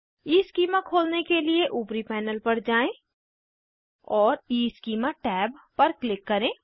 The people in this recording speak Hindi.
ईस्कीमा खोलने के लिए ऊपरी पैनल पर जाएँ और ईस्कीमा टैब पर क्लिक करें